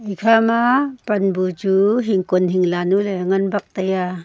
ekhama pan bu chu hingkon hingla nuley ngan bak taiya.